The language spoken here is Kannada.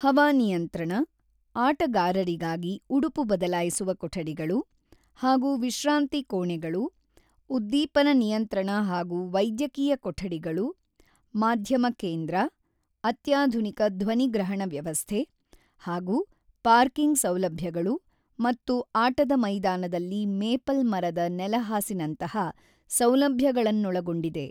ಹವಾನಿಯಂತ್ರಣ, ಆಟಗಾರರಿಗಾಗಿ ಉಡುಪು ಬದಲಾಯಿಸುವ ಕೊಠಡಿಗಳು ಹಾಗೂ ವಿಶ್ರಾಂತಿ ಕೋಣೆಗಳು, ಉದ್ದೀಪನ ನಿಯಂತ್ರಣ ಹಾಗೂ ವೈದ್ಯಕೀಯ ಕೊಠಡಿಗಳು, ಮಾಧ್ಯಮ ಕೇಂದ್ರ, ಅತ್ಯಾಧುನಿಕ ಧ್ವನಿಗ್ರಹಣ ವ್ಯವಸ್ಥೆ ಹಾಗೂ ಪಾರ್ಕಿಂಗ್ ಸೌಲಭ್ಯಗಳು ಮತ್ತು ಆಟದ ಮೈದಾನದಲ್ಲಿ ಮೇಪಲ್ ಮರದ ನೆಲಹಾಸಿನಂತಹ ಸೌಲಭ್ಯಗಳನ್ನೊಳಗೊಂಡಿದೆ.